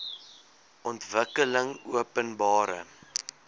ontwikkelingopenbare